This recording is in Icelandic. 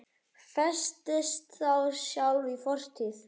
Festist þá sjálf í fortíð.